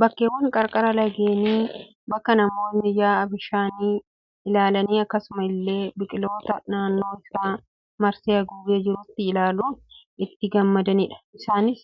Bakkeewwan qarqara lageenii bakka namootni yaa'a bishaanii ilaalanii akkasuma illee biqiloota naannoo isaa marsee haguugee jirutti ilaaluun itti gammadanidha. Isaanis